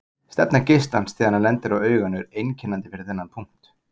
Stefna geislans þegar hann lendir á auganu er einkennandi fyrir þennan punkt.